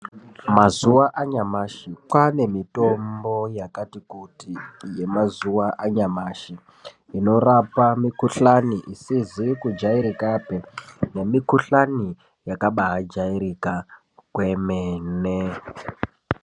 Mazuwa anyamashi kwane mitombo yakati kuti yemazuwa anyamashi inorapa mukuhlani isizi kujairikapii nemikuhlani yakabajairika kwemene.